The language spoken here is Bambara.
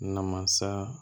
Namasa